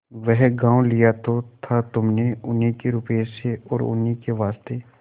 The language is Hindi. वह गॉँव लिया तो था तुमने उन्हीं के रुपये से और उन्हीं के वास्ते